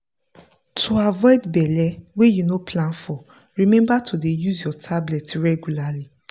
to avoid belle wey you no plan for remember to dey use your tablet regualrly.